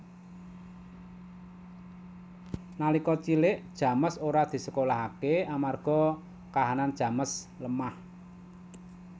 Nalika cilik James ora disekolahaké amarga kahanan James lemah